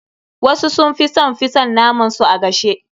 Wasu sun fi son fi son naman su a gashe.